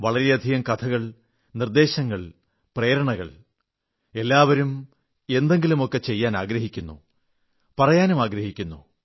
വളരെയധികം കഥകൾ നിർദ്ദേശങ്ങൾ പ്രേരണകൾ എല്ലാവരും എന്തെങ്കിലുമൊക്കെചെയ്യാനാഗ്രഹിക്കുന്നു പറയാനുമാഗ്രഹിക്കുന്നു